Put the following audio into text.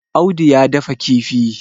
Audu ya dafa kifi